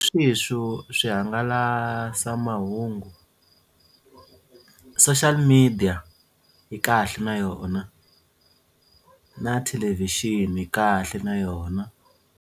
swihangalasamahungu social media yi kahle na yona na thelevhixini yi kahle na yona.